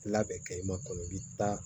Labɛn kɛ i ma kɔnɔ i bi taa